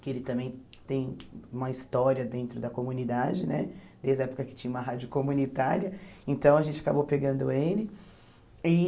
que ele também tem uma história dentro da comunidade né, desde a época que tinha uma rádio comunitária, então a gente acabou pegando ele e.